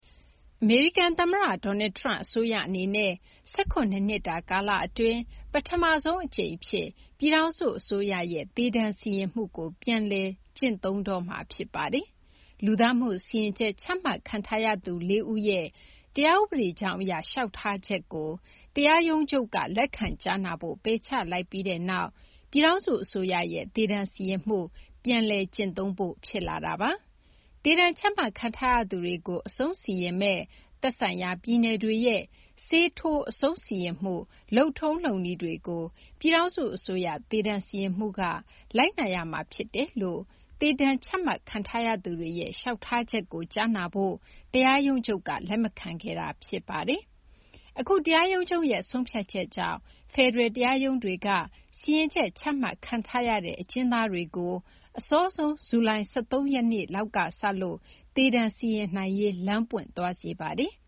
အမေရိကန် သမ္မတ Donald Trump အစိုးရ အနေနဲ့ ၁၇ နှစ်တာ ကာလ အတွင်း ပထမဆုံး အကြိမ် အဖြစ် ပြည်ထောင်စု အစိုးရရဲ့ သေဒဏ်စီရင်မှုကို ပြန်လည် စတင်ကျင့်သုံးတော့မှာ ဖြစ်ပါတယ်။ လူသတ်မှု စီရင်ချက် ချမှတ်ခံထားရသူ ၄ ဦးရဲ့ တရားဥပဒေကြောင်းအရ လျှောက်ထားချက်ကို တရားရုံးချုပ်က လက်ခံကြားနာဖို့ ပယ်ချလိုက်ပြီးနောက်မှာ ပြည်ထောင်စု အစိုးရရဲ့ သေဒဏ်စီရင်မှု ပြန်လည် ကျင့်သုံးဖို့ ဖြစ်လာတာပါ။ သေဒဏ် ချမှတ်ခံထားရသူတွေကို အဆုံးစီရင်မယ့် သက်ဆိုင်ရာ ပြည်နယ်တွေရဲ့ ဆေးထိုး အဆုံစီရင်မှု လုပ်ထုံးလုပ်နည်းတွေကို ပြည်ထောင်စု အစိုးရ သေဒဏ်စီရင်မှုက လိုက်နာရမှာ ဖြစ်တယ်လို့ သေဒဏ်ချမှတ်ခံထားရသူတွေရဲ့ လျှောက်ထားချက်ကို ကြားနာဖို့ တရားရုံးချုပ်က လက်မခံခဲ့တာ ဖြစ်ပါတယ်။ အခု တရားရုံးချုပ်ရဲ့ ဆုံးဖြတ်ချက်ကြောင့် ဖယ်ဒရယ် တရားရုံးတွေက စီရင်ချက် ချမှတ်ခံထားရတဲ့ အကျဉ်းသားတွေကို အစောဆုံး ဇူလိုင် ၁၃ ရက်နေ့လောက်က စလို့ သေဒဏ်စီရင်နိုင်ရေး လမ်းပွင့်သွားစေပါတယ်။